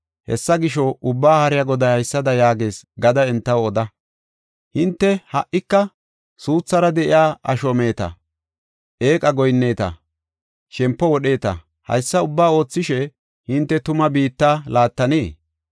Hessa gisho, Ubbaa Haariya Goday haysada yaagees gada entaw oda. “Hinte ha77ika suuthara de7iya asho meeta; eeqa goyinneta; shempo wodheeta. Haysa ubbaa oothishe hinte tuma biitta laattanee?